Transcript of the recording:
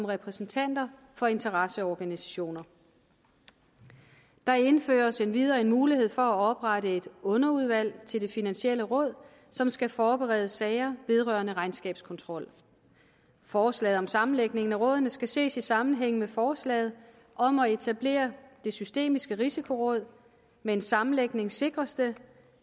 repræsentanter for interesseorganisationer der indføres endvidere mulighed for at oprette et underudvalg til det finansielle råd som skal forberede sager vedrørende regnskabskontrol forslaget om sammenlægning af rådene skal ses i sammenhæng med forslaget om at etablere det systemiske risikoråd med en sammenlægning sikres det